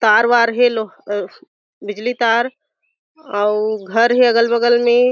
तार वार हे लो अ बिजली तार अउ घर हें अगल बगल में--